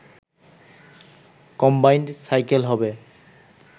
combined cycle হবে